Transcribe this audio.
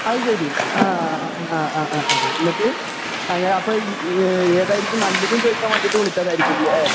അത് ശരി. ആ അഹ് ആ, എന്നിട്ട്? അത് ഇഹ് അപ്പൊ ഏതായിരിക്കും നല്ലത് എന്ന് ചോദിക്കാൻ വേണ്ടി വിളിച്ചതായിരിക്കുമല്ലേ?